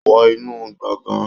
Wọ inú gbọ̀ngán